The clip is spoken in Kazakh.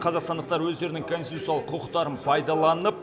қазақстандықтар өздерінің конституциялық құқықтарын пайдаланып